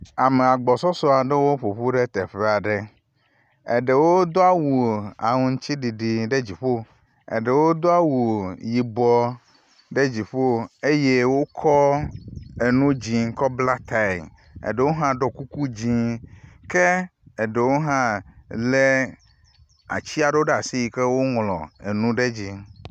Ame agbɔsɔsɔ aɖewo ƒoƒu ɖe teƒe aɖe. Eɖewo do awu aŋtsiɖiɖi ɖe teƒe aɖe. Eɖewo do awu yibɔ ɖe dziƒo eye wokɔ enu dzi kɔ bla tae, eɖewo hã ɖɔ kuku dzi ke eɖewo hã le atsi aɖewo ɖe as iyi ke woŋlɔ nu ɖe edzi.